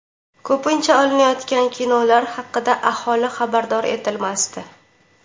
Ko‘pincha, olinayotgan kinolar haqida aholi xabardor etilmasdi.